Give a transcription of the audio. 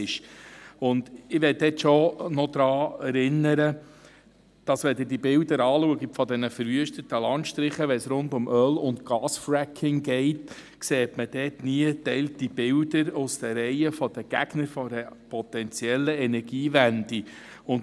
Ich möchte daran erinnern, dass man bei Betrachtung der Bilder von verwüsteten Landstrichen, wenn es um Öl- und Gas-Fracking geht, aus den Reihen der Gegner nie geteilte Bilder einer potenziellen Energiewende sieht.